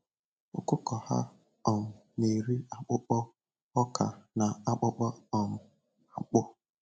Ọkụkọ ha um na-eri akpụkpọ ọka na akpụkpọ um akpụ.